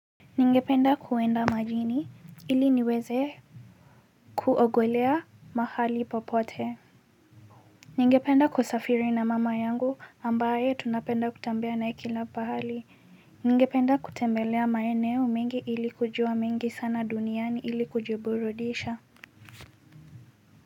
Ningependa kuenda majini ili niweze kuogelea mahali popote. Ningependa kusafiri na mama yangu ambaye tunapenda kutembea na yeye kila pahali. Ningependa kutembelea maeneo mengi ili kujua mengi sana duniani ili kujiburudisha.